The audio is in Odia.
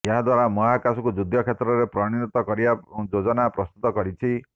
ଏହାଦ୍ୱାରା ମହାକାଶକୁ ଯୁଦ୍ଧ କ୍ଷେତ୍ରରେ ପରିଣତ କରିବା ଯୋଜନା ପ୍ରସ୍ତୁତ କରିଛି